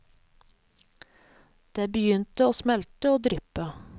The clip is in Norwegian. Det begynte å smelte og dryppe.